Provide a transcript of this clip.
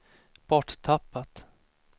borttappat